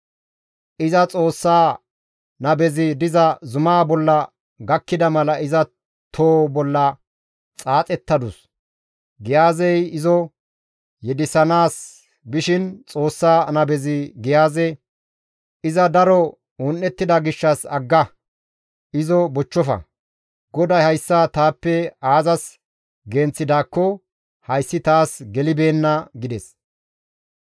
Iza Xoossa nabezi diza zumaa bolla gakkida mala iza too bolla xaaxettadus; Giyaazey izo yedisanaas bishin Xoossa nabezi Giyaaze, «Iza daro un7ettida gishshas agga; izo bochchofa; GODAY hayssa taappe aazas genththidaakko hayssi taas gelibeenna» gides.